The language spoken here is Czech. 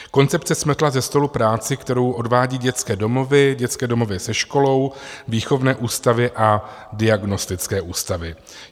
Koncepce smetla se stolu práci, kterou odvádí dětské domovy, dětské domovy se školou, výchovné ústavy a diagnostické ústavy.